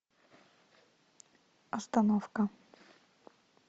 остановка